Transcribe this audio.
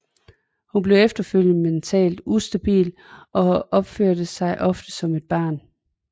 Hun bliver efterfølgende mentalt ustabil og opfører sig ofte som et barn